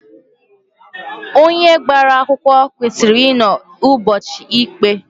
Onye gbara akwụkwọ kwesịrị inọ ụbọchị ikpe.